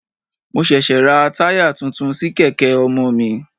Mo ṣẹ̀ṣẹ̀ ra tire tuntun sí kèké ọmọ mi.